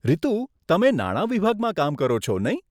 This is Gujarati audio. રીતુ, તમે નાણા વિભાગમાં કામ કરો છો, નહીં?